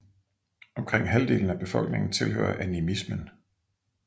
Omkring halvdelen af befolkningen tilhører animismen